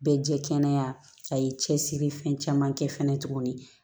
Bɛɛ jɛ kɛnɛya a y'i cɛsiri fɛn caman kɛ fɛnɛ tuguni